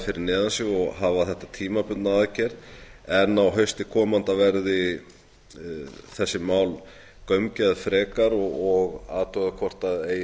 fyrir neðan sig og hafa þetta tímabundna aðgerð en á hausti komanda verði þessi mál gaumgæfð frekar og athugað hvort það eigi